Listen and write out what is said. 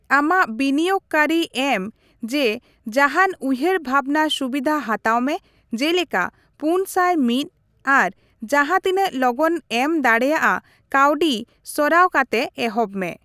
ᱟᱢᱟᱜ ᱵᱤᱱᱤᱭᱳᱜᱽ ᱠᱟᱨᱤ ᱮᱢ ᱡᱮ ᱡᱟᱦᱟᱱ ᱩᱭᱦᱟᱹᱨ ᱵᱷᱟᱵᱽᱱᱟ ᱥᱩᱵᱤᱫᱷᱟ ᱦᱟᱛᱟᱣ ᱢᱮ, ᱡᱮᱞᱮᱠᱟ ᱯᱩᱱ ᱥᱟᱭ ᱢᱤᱛ, ᱟᱨ ᱡᱟᱸᱦᱟ ᱛᱤᱱᱟᱹᱜ ᱞᱚᱜᱚᱱ ᱮᱢ ᱫᱟᱲᱮᱭᱟᱜᱼᱟ ᱠᱟᱹᱣᱰᱤ ᱥᱚᱨᱟᱣ ᱠᱟᱛᱮ ᱮᱦᱚᱵ ᱢᱮ ᱾